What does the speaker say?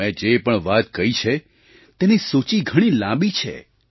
મેં જે પણ વાત કહી છે તેની સૂચિ ઘણી લાંબી છે